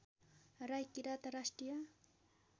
राई किरात राष्ट्रिय